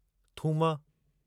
थूम